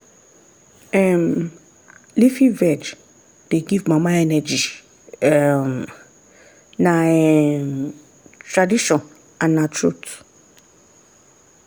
um leafy veg dey give mama energy um na um tradition and na truth.